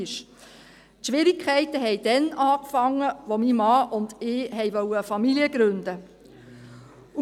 Die Schwierigkeiten begannen, als mein Mann und ich eine Familie gründen wollten.